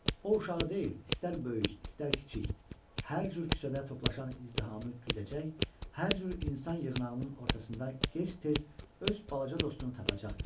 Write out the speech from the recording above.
O uşağı deyil, istər böyük, istər kiçik, hər cür küçədə toplaşan izdihamı güdəcək, hər cür insan yığınağının ortasında gec-tez öz balaca dostunu tapacaqdı.